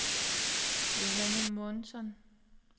Johanne Månsson